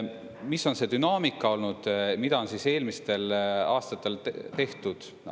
Mis on see dünaamika olnud, mida on eelmistel aastatel tehtud?